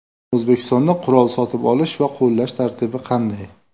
O‘zbekistonda qurol sotib olish va qo‘llash tartibi qanday?.